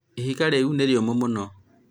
ihiga rĩu nĩ rĩũmũ mũno